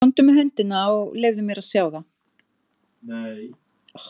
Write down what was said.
Komdu með hendina og leyfðu mér að sjá það.